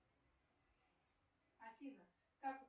афина как